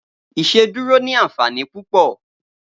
Iṣédùró ni ànfání púpọ